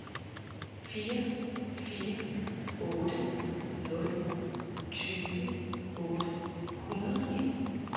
fire fire otte nul tyve otte hundrede og nitten